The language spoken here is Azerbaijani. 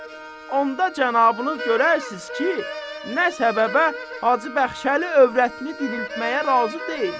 Onda cənabınız görərsiz ki, nə səbəbə Hacı Bəxşəli övrətini diriltməyə razı deyil.